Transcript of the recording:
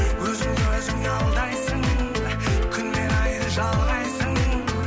өзіңді өзің алдайсың күнмен айды жалғайсың